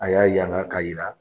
A y'a ye an'a k'a jira